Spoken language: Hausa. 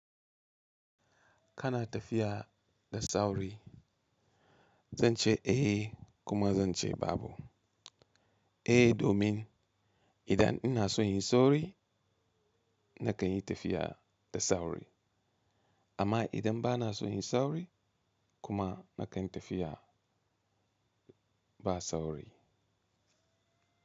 Kana tafiya da sauri. Zan ce eh kuma zan ce babu. Eh domin idan ina son yin sauri nakan yi tafiya da sauri amma idan bana son yin sauri kuma nakan yi tafiya ba sauri.